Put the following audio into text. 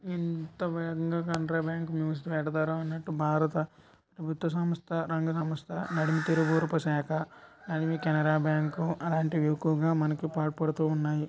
ఎంత వేగంగా Canara bank news పెడతారన్నట్టు భారత ప్రభుత్వ సంస్థ రంగ సంస్థ నడిమి తిరువూరుప శాక అండ్ కెనరా బ్యాంకు అలాంటివి ఎక్కువగా మనకు పాల్పడుతూ ఉన్నాయి.